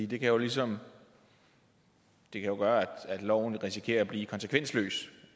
det kan jo ligesom gøre at loven risikerer at blive konsekvensløs